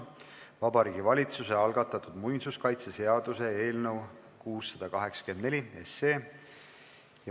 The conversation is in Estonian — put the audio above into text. Vabariigi Valitsuse algatatud muinsuskaitseseaduse eelnõu 684.